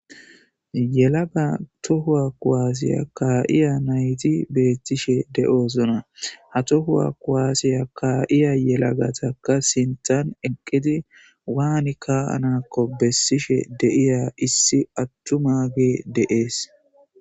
Yelaga toho kuwase kaiya nayiti betishe de'osona ha toho kuwase kaiya yelagatika sinthan eqidi wani ka'anako besishe de'iya issi atumage de'ees